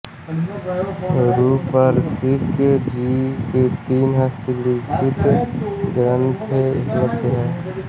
रूपरसिक जी के तीन हस्तलिखित ग्रन्थ उपलब्ध हैं